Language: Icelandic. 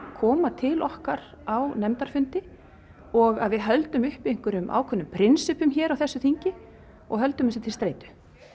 koma til okkar á nefndarfundi og að við höldum uppi ákveðnum prinsippum hér á þessu þingi og höldum þessu til streitu